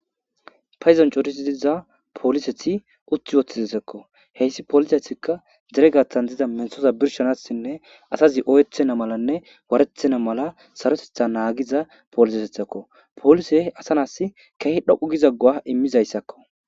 payizonchotisi diiza pooliseti utti woththizisekko heyssi polisetikka deregatan dida menhoza birshanasinne asazi oyeethena malanne warethena mala sarotetha naagiza polisesethakko polise asa nas keehi dhoqu gizaggowa immizayssakko